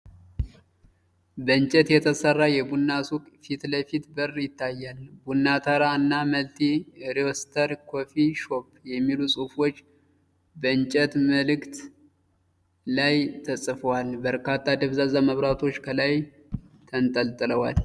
በእንጨት የተሰራ የቡና ሱቅ የፊት ለፊት በር ይታያል። 'ቡና ተራ' እና 'መልቲ ሮስተር ኮፊ ሾፕ' የሚሉ ጽሑፎች በእንጨት ምልክት ላይ ተጽፈዋል። በርካታ ደብዛዛ መብራቶች ከላይ ተንጠልጥለዋል።